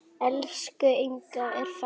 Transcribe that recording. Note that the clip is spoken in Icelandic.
Elsku Inga er farin.